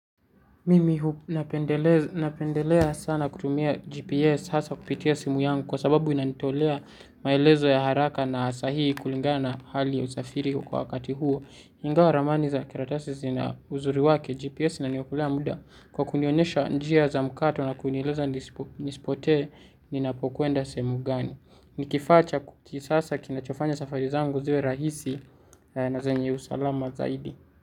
Mimi napendelea sana kutumia GPS hasa kupitia simu yangu kwa sababu inanitolea maelezo ya haraka na saa hii kulingana na hali ya usafiri kwa wakati huo. Ingawa ramani za karatasi zina uzuri wake GPS inaniokolea muda kwa kunionyesha njia za mkato na kunieleza nisipotee ninapokwenda sehemu gani. Nikifaa cha kisasa kinachofanya safari zangu ziwe rahisi na zenye usalama zaidi.